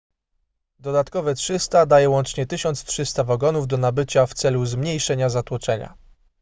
dodatkowe 300 daje łącznie 1300 wagonów do nabycia w celu zmniejszenia zatłoczenia